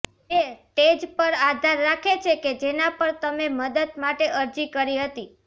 તે સ્ટેજ પર આધાર રાખે છે કે જેના પર તમે મદદ માટે અરજી કરી હતી